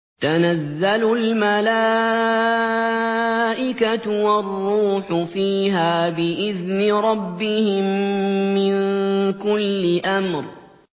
تَنَزَّلُ الْمَلَائِكَةُ وَالرُّوحُ فِيهَا بِإِذْنِ رَبِّهِم مِّن كُلِّ أَمْرٍ